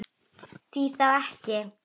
Því þá ekki?